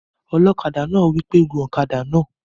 Ọlọ́kadà náà wí pé "gun ọ̀kadà náà!"